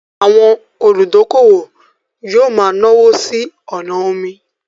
Àwọn olùdókówò yóò ma náwó sí ọnà omi